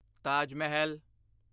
Taj Mahal